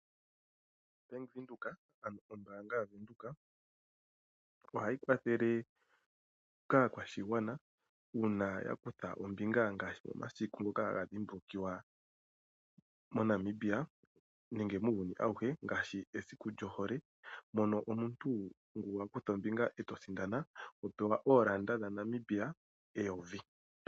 Bank Windhoek ano Ombaanga yaVenduka, ohayi kwathele kaakwashigwana uuna yakutha ombinga ngaashi momasiku ngoka haga dhimbulukiwa moNamibia, nenge muuyuni auhe ngaashi esiku lyo hole, mono omuntu ngu wakutha ombinga eto sindana oho pewa oolanda dhaNamibia eyovi.